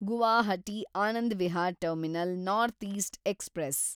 Guwahati Anand Vihar terminal north east express